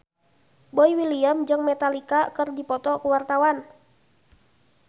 Boy William jeung Metallica keur dipoto ku wartawan